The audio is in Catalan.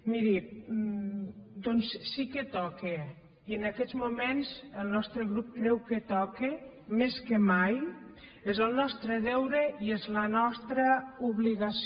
miri doncs sí que toca i en aquests moments el nostre grup creu que toca més que mai és el nostre deure i és la nostra obligació